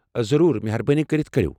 ضروُر ، مہربٲنی كرِتھ كریو ۔